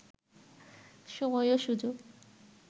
সময় ও সুযোগ